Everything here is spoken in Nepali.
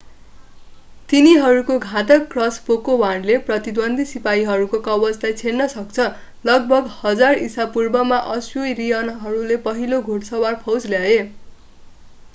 तिनीहरूको घातक क्रसबोको वाणले प्रतिद्वन्द्वी सिपाहीहरूको कवचलाई छेड्न सक्छ लगभग 1000 ईशापूर्वमा अश्शूरियनहरूले पहिलो घोडसवार फौज ल्याए